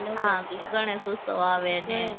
હા ગણેશોત્સવ આવે ને